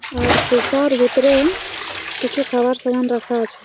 এর সিসার ভিতরে কিছু খাবার সামান রাখা আছে।